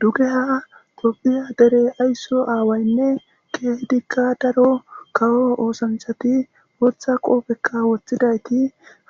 dugeha dophiya dere aysso aawaynne keehdikka daro kawo oosanchati gootha qoopekka woththidayti